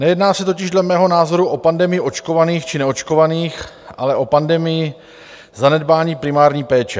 Nejedná se totiž dle mého názoru o pandemii očkovaných či neočkovaných, ale o pandemii zanedbání primární péče.